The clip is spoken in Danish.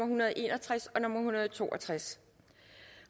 hundrede og en og tres og en hundrede og to og tres